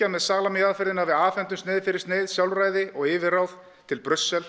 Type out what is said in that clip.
með salami aðferðinni að við afhendum sneið fyrir sneið sjálfræði og yfirráð til